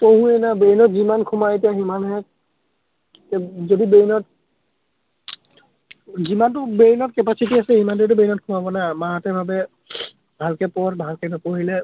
আমিতো পঢ়োৱেই এতিয়া brain ত যিমান সোমাই সিমানহে, যদি brain ত, যিমানটো brain ত capacity আছে, সিমানটোৱেতো brain ত সোমাব , মাহঁতে ভাৱে ভালকে পঢ়, ভালকে নপঢ়িলে,